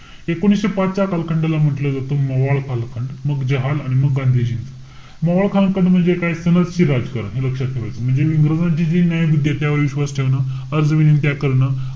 एकोणीशे पाच च्या कालखंडाला म्हंटल जातं मवाळ कालखंड. मग जहाल आणि मग गांधीजी. मवाळ कालखंड म्हणजे काय? राजकारण. हे लक्षात ठेवायच. म्हणजे इंग्रजांची जी न्यायबुद्धीय त्यावर विश्वास ठेवणं, अर्ज-विनंत्या करणं.